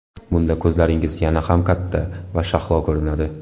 Bunda ko‘zlaringiz yana ham katta va shahlo ko‘rinadi.